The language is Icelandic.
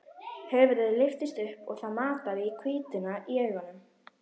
Höfuðið lyftist upp og það mataði í hvítuna í augunum.